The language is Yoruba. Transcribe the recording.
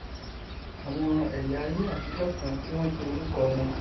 àwọn ẹyà ayé àtijọ kan tí wọn pe orúkọ wọn